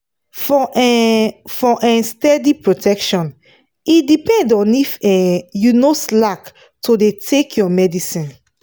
for um for um steady protection e depend on if um you no slack to dey take your medicine